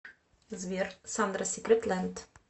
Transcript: сбер сандра сикрет лэнд